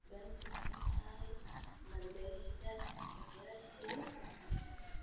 Kibaki wuxuu xooga saaray maalgashiga kaabayaasha iyo waxbarashada.